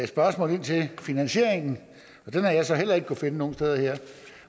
spørgsmål til finansieringen og den har jeg så heller ikke kunnet finde nogen steder her